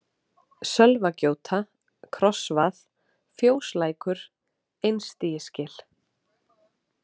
Sölvagjóta, Krossvað, Fjóslækur, Einstigisgil